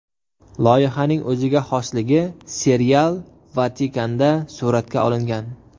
Loyihaning o‘ziga xosligi serial Vatikanda suratga olingan.